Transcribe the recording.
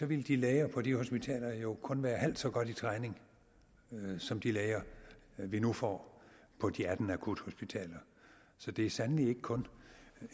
ville de læger på de hospitaler jo kun være halvt så godt i træning som de læger vi nu får på de atten akuthospitaler så det er sandelig ikke kun